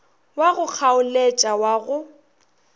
wa go kgaoletša wa go